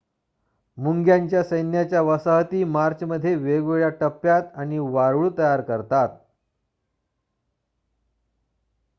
मुंग्यांच्या सैन्याच्या वसाहती मार्चमध्ये वेगवेगळ्या टप्प्यात आणि वारूळ तयार करतात